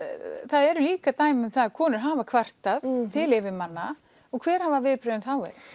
eru líka dæmi að konur hafi kvartað til yfirmanna og hver hafa viðbrögðin þá verið